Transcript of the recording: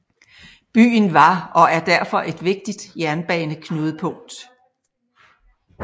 Byen var og er derfor et vigtigt jernbaneknudepunkt